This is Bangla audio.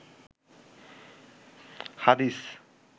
হাদিস